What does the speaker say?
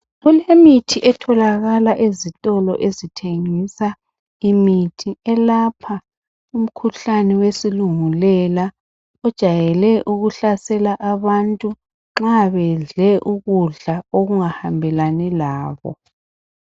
Kulemithin etholakala ezitolo ezithengisa imithi elapha umkhuhlane wesilungulela ojayele ukuhlasela abantu nxabedle ukudla okungahambelani labo